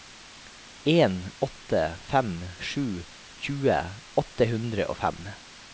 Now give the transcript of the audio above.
en åtte fem sju tjue åtte hundre og fem